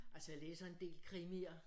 Altså jeg læser en del krimier